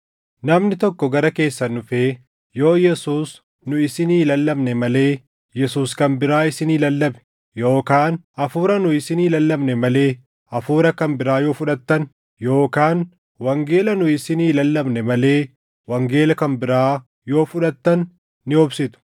Namni tokko gara keessan dhufee yoo Yesuus nu isinii lallabne malee Yesuus kan biraa isinii lallabe, yookaan Hafuura nu isinii lallabne malee hafuura kan biraa yoo fudhattan, yookaan wangeela nu isinii lallabne malee wangeela kan biraa yoo fudhattan ni obsitu.